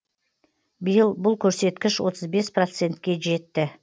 биыл бұл көрсеткіш отыз бес процентке жетті